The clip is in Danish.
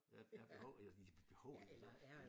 Er er behov behovet eller eller